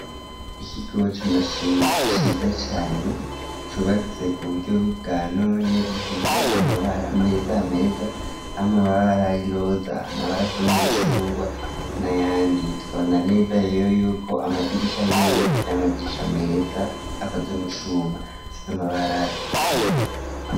Ikigo c'amashure ciza cane cubatse ku buryo bwa none, gisize amabara meza meza amabara y'iroza amabara asa n'umucungwa n'ayandi tukabona neza rero yuko amadirisha yoyo ari amadirisha ameza akoze mu cuma asize amabara y'urwatsi.